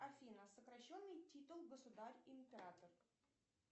афина сокращенный титул государь император